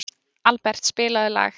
Albert, spilaðu lag.